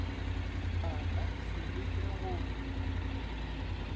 a ka se leke go